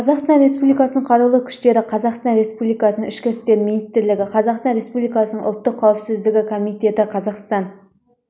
қазақстан республикасының қарулы күштері қазақстан республикасының ішкі істер министрлігі қазақстан республикасының ұлттық қауіпсіздік комитеті қазақстан